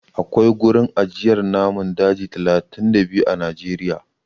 Akwai gurin ajiyar namun daji talatin da biyu a Najeriya.